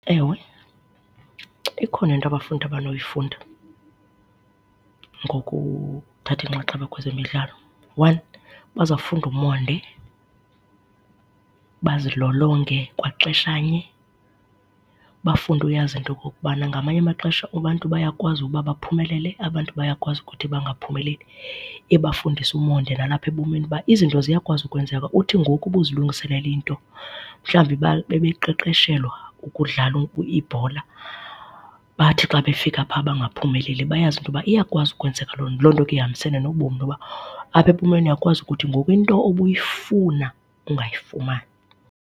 Ewe, ikhona into abafundi abanoyifunda ngokuthatha inxaxheba kwezemidlalo. One, bazawufunda umonde, bazilolonge kwaxeshanye bafunde uyazi into okokubana ngamanye amaxesha abantu bayakwazi uba baphumelele, abantu bayakwazi ukuthi bangaphumeleli. Ibafundise umonde nalapha ebomini uba izinto ziyakwazi ukwenzeka uthi ngoku ubuzilungiselele into, mhlawumbi bebeqeqeshelwa ukudlala ibhola bathi xa befika pha bangaphumeleli bayazi into yoba iyakwazi ukwenzeka loo nto. Loo nto ke ihambisane nobomi into yoba apha ebomini uyakwazi ukuthi ngoku into ubuyifuna ungayifumani.